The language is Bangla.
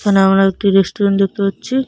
এখানে আমরা একটি রেস্টুরেন্ট দেখতে পাচ্ছি।